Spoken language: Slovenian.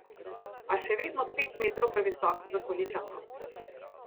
A še vedno pet metrov previsok za Konjičanko.